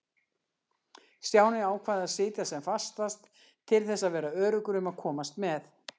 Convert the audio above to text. Stjáni ákvað að sitja sem fastast til þess að vera öruggur um að komast með.